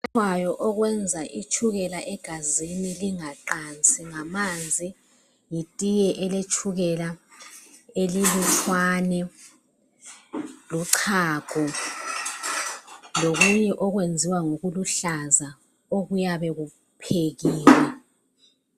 okwenza itshukela egazini lingaqansi ngamanzi letiye eletshukela elilutshwane lochago lokhunye okwenziwa ngokuluhlaza okuyabe kuphekiwe